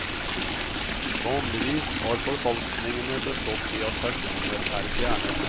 Vanligvis har forfalskningene bestått i at personer er fjernet.